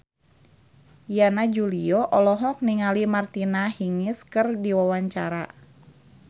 Yana Julio olohok ningali Martina Hingis keur diwawancara